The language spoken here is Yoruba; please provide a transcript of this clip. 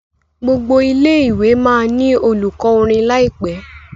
gbogbo ilé ìwé má ní olùkó orin láìpé